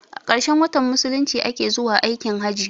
A ƙarshen watan musulunci a ke zuwa aikin hajji.